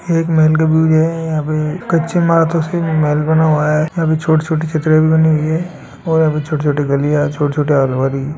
एक महल का व्यू हैं यहाँ पे काछी मे तस्वीर मे महल बना हुआ हैं अभी छोटी छोटी छतरियाँ भी बने हुए है और अभी छोटे छोटे गलियाँ छोटे छोट --